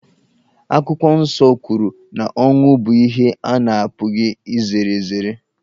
Akwụkwọ Nsọ kwuru na ọnwụ bụ ihe a na-apụghị izere ezere.